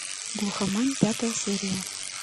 глухомань пятая серия